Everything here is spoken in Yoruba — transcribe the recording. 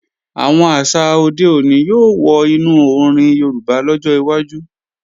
Àwọn àṣà òde òní yóò wọ inú orin Yorùbá lọ́jọ́ iwájú